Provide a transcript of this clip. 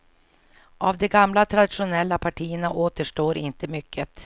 Av de gamla traditionella partierna återstår inte mycket.